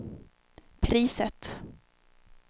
priset